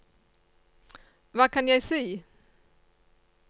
hva kan jeg si